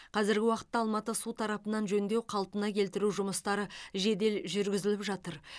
қазіргі уақытта алматы су тарапынан жөндеу қалпына келтіру жұмыстары жедел жүргізіліп жатыр